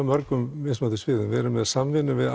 mörgum mismunandi sviðum og við erum í samvinnu við